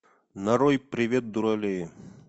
нарой привет дуралеи